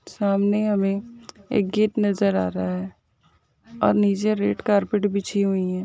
सामने हमें एक गेट नज़र आ रहा है और नीचे रेड कारपेट बिछीं हुयी हैं।